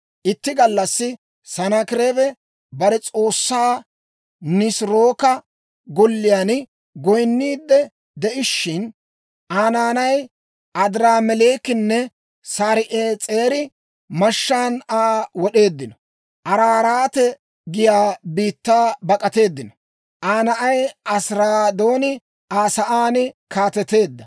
Itti gallassi Sanaakireebi bare s'oossaa Nisirooka golliyaan goyinniid de'ishshin, Aa naanay Adiraameleekinne Sar"ees'eri mashshaan Aa wod'eeddino. Araaraate giyaa biittaa bak'ateeddino. Aa na'ay Asiraadooni Aa sa'aan kaateteedda. 37:38 Asiraadooni: I Ibraawetso k'aalan «Esar-Haddon» geetettee.